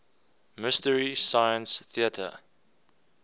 mystery science theater